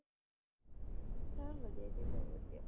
ਸਬ ਵਧੀਆ ਜੀ ਸਬ ਵਧੀਆ